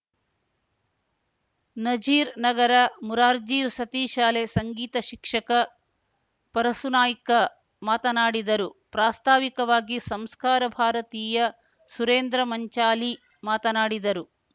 ನಜೀರ್ ನಗರ ಮುರಾರ್ಜಿ ವಸತಿ ಶಾಲೆ ಸಂಗೀತ ಶಿಕ್ಷಕ ಪರಸುನಾಯ್ಕ ಮಾತನಾಡಿದರು ಪ್ರಾಸ್ತಾವಿಕವಾಗಿ ಸಂಸ್ಕಾರ ಭಾರತೀಯ ಸುರೇಂದ್ರ ಮಂಚಾಲಿ ಮಾತನಾಡಿದರು